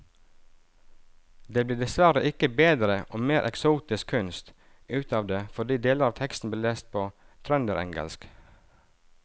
Det blir dessverre ikke bedre og mer eksotisk kunst ut av det fordi deler av teksten blir lest på trønderengelsk.